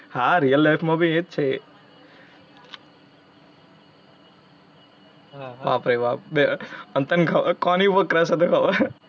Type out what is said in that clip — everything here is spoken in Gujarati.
હાં real life માં ભી એ જ છે એ. વાહ ભઇ વાહ બે અને તને કોની ઉપર crush હતો એ ખબર